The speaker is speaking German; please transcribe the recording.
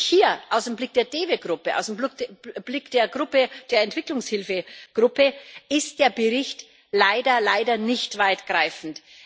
Und hier aus dem Blick der DEVE Gruppe, aus dem Blick der Entwicklungshilfegruppe ist der Bericht leider, leider nicht weitgreifend.